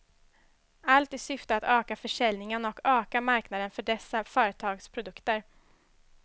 Allt i syfte att öka försäljningen och öka marknaden för dessa företags produkter.